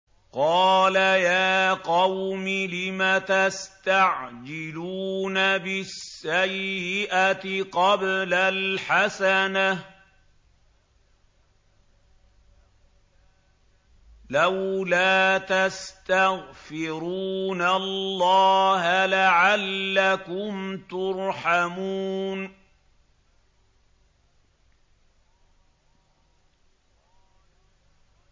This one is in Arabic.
قَالَ يَا قَوْمِ لِمَ تَسْتَعْجِلُونَ بِالسَّيِّئَةِ قَبْلَ الْحَسَنَةِ ۖ لَوْلَا تَسْتَغْفِرُونَ اللَّهَ لَعَلَّكُمْ تُرْحَمُونَ